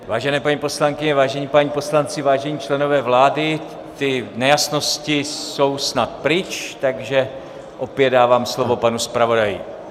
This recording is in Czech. Vážené paní poslankyně, vážení páni poslanci, vážení členové vlády, ty nejasnosti jsou snad pryč, takže opět dávám slovo panu zpravodaji.